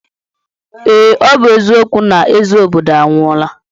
Ee, ọ bụ eziokwu na eze obodo anwụọla.